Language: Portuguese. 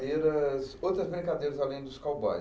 outras brincadeiras além dos cowboys.